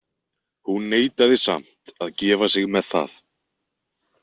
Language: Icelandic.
Hún neitaði samt að gefa sig með það.